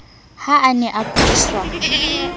ha a ne a kudiswa